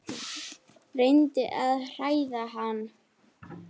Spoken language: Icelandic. Reyndi að hræða hann.